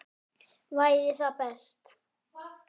Væri það best?